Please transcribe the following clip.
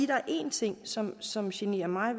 der er en ting som som generer mig